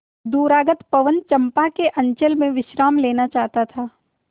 दूरागत पवन चंपा के अंचल में विश्राम लेना चाहता था